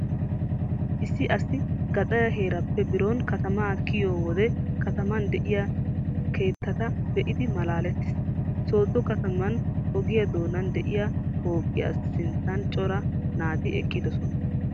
Issi asi gaxare heeraappe biron katamaa kiyiyo wode kataman de'iya keettata be'idi malaalettees. Soddo kataman ogiya doonan diya pooqiya sinttan cora naati eqqidosona.